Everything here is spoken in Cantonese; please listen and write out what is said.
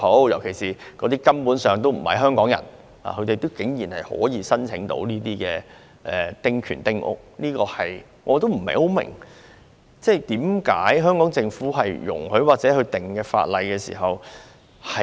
有些擁有丁權的人根本不是香港人，但他們竟然可以申請興建丁屋，我不明白為甚麼香港政府容許這事情發生。